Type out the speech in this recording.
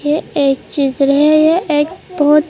ये एक चीज है ये एक बहुत--